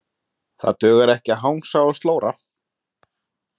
Það dugar ekki að hangsa og slóra.